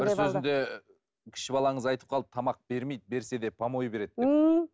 бір сөзінде кіші балаңыз айтып қалды тамақ бермейді берсе де помой береді деп ммм